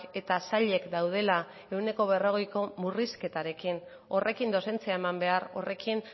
eta sailek daudela ehuneko berrogeiko murrizketarekin horrekin dozentzia eman behar horrekin